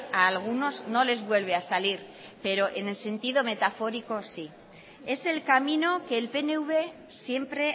a algunos no les vuelve a salir pero en el sentido metafórico sí es el camino que el pnv siempre